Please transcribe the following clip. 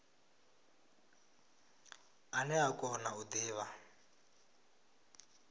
ane a kona u divha